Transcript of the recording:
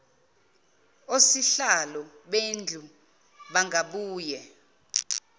osihlalo bendlu bangabuye